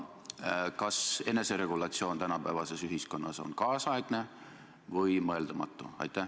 Ja kas eneseregulatsioon tänapäevases ühiskonnas on ajakohane või mõeldamatu?